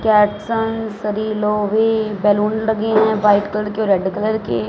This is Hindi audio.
कैट्सन सभी लोहे बलून लगे हैं व्हाइट कलर के और रेड कलर के।